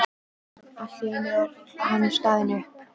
Allt í einu er hann staðinn upp.